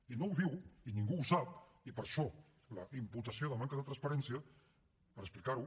i no ho diu i ningú ho sap i per això la imputació de manca de transparència per explicar ho